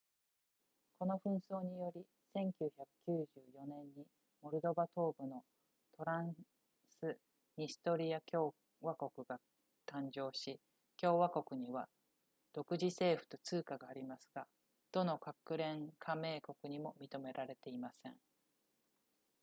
この紛争により1994年にモルドバ東部のトランスニストリア共和国が誕生し共和国には独自政府と通貨がありますがどの国連加盟国にも認められていません